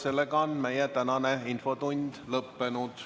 Sellega on meie tänane infotund lõppenud.